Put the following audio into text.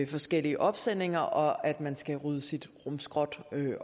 forskellige opsendinger og man skal rydde sit rumskrot